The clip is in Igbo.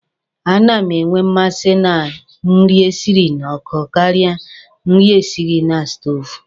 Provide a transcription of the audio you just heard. A na m enwe mmasị na nri e siri na nkụ karịa nri e siri na sutoovu.